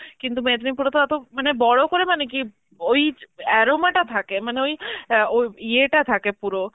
কিন্তু মেদিনীপুরেতো অতো মানে বড় করে মানে কি ওই য~ aroma টা থাকে মানে ওই অ্যাঁ ওই ইয়েটা থাকে পুরো,